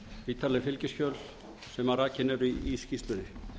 ítarleg fylgiskjöl sem rakin eru í skýrslunni eins